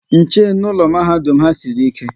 Nche n'ụlọ mahadum ha sịrị ike